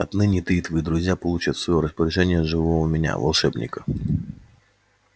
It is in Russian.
отныне ты и твои друзья получат в своё распоряжение живого меня волшебника